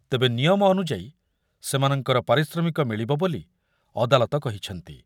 ତେବେ ନିୟମ ଅନୁଯାୟୀ ସେମାନଙ୍କର ପାରିଶ୍ରମିକ ମିଳିବ ବୋଲି ଅଦାଲତ କହିଛନ୍ତି।